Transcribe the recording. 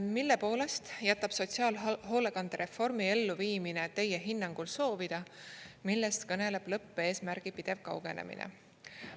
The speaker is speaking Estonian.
"Mille poolest jätab sotsiaalhoolekandereformi elluviimine Teie hinnangul soovida, millest kõneleb lõppeesmärgi pidev kaugenemine?